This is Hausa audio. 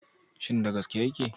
Shin da gaske yake?